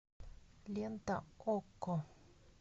лента окко